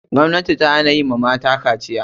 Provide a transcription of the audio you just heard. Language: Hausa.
Gwamnati ta hana kaciya wa mata.